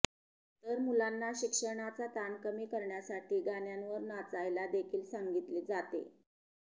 तर मुलांना शिक्षणाचा ताण कमी करण्यासाठी गाण्यांवर नाचायला देखील सांगितले जाते